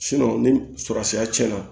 ni surɔsiya cɛnna